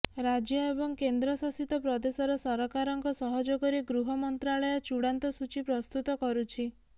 ରାଜ୍ୟ ଏବଂ କେନ୍ଦ୍ର ଶାସିତ ପ୍ରଦେଶର ସରକାରଙ୍କ ସହଯୋଗରେ ଗୃହ ମନ୍ତ୍ରାଳୟ ଚୂଡାନ୍ତ ସୂଚୀ ପ୍ରସ୍ତୁତ କରୁଛି